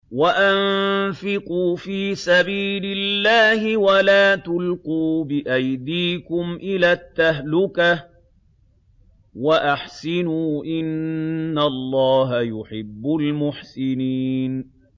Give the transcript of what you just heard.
وَأَنفِقُوا فِي سَبِيلِ اللَّهِ وَلَا تُلْقُوا بِأَيْدِيكُمْ إِلَى التَّهْلُكَةِ ۛ وَأَحْسِنُوا ۛ إِنَّ اللَّهَ يُحِبُّ الْمُحْسِنِينَ